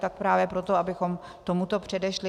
Tak právě proto, abychom tomuto předešli.